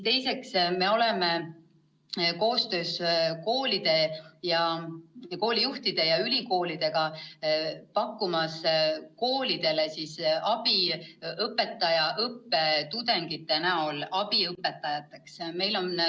Teiseks, me hakkame koostöös koolide, koolijuhtide ja ülikoolidega pakkuma koolidele abi õpetajaõppe tudengite näol, kes võivad olla abiõpetajad.